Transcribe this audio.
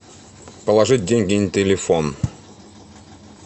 положить деньги на телефон